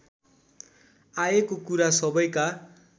आएको कुरा सबैका